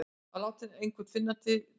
Að láta einhvern finna til tevatnsins